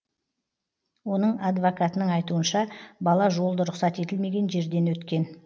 оның адвокатының айтуынша бала жолды рұқсат етілмеген жерден өткен